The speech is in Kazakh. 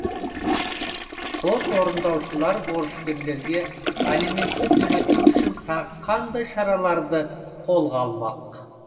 сот орындаушылар борышкерлерге алиментті төлету үшін тағы қандай шараларлы қолға алды